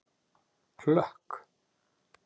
Hlökk